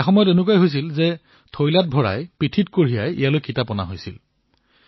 এটা সময় এনে আছিল যেতিয়া পিঠিত বোজা কৰাই ইয়ালৈ কিতাপ অনা হৈছিল